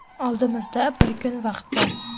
Oldimizda bir kun vaqt bor.